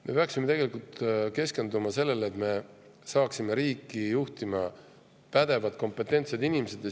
Me peaksime keskenduma sellele, et me saaksime riiki juhtima pädevad, kompetentsed inimesed.